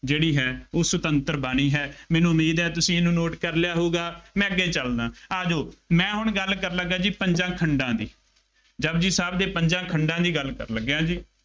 ਜਿਹੜੀ ਹੈ ਉਹ ਸੁਤੰਤਰ ਬਾਣੀ ਹੈ। ਮੈਨੂੰ ਉਮੀਦ ਹੈ ਤੁਸੀਂ ਇਹਨੂੰ note ਕਰ ਲਿਆ ਹੋਊਗਾ। ਮੈਂ ਅੱਗੇ ਚੱਲਦਾਂ, ਆ ਜਾਉ ਮੈਂ ਹੁਣ ਗੱਲ ਕਰਨ ਲੱਗਾਂ ਜੀ, ਪੰਜਾਂ ਖੰਡਾਂ ਦੀ, ਜਪੁਜੀ ਸਾਹਿਬ ਦੇ ਪੰਜਾਂ ਖੰਡਾਂ ਦੀ ਗੱਲ ਕਰਨ ਲੱਗਿਆਂ ਜੀ,